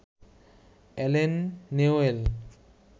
Allen Newell